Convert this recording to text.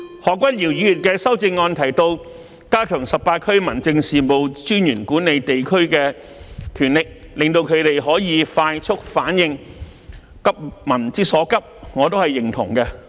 何君堯議員的修正案提到"加強十八區民政事務專員管理地區的權力，令他們可以快速反應，急民之所急"，我表示認同。